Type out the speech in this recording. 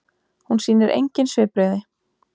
Hún sýnir engin svipbrigði.